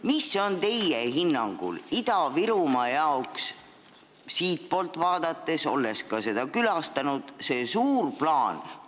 Mis on teie hinnangul Ida-Virumaa jaoks siitpoolt vaadates – te olete ka seda külastanud – see suur plaan?